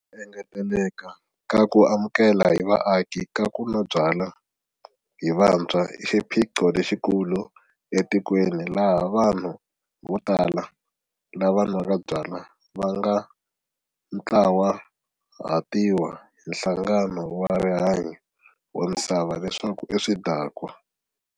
Ku engeteleka ka ku amukela hi vaaki ka ku nwa byala hi vantshwa i xiphiqo lexikulu etikweni laha vanhu vo tala lava nwaka byala va nga ntlawahatiwa hi Nhlangano wa Rihanyo wa Misava leswaku i swidakwa.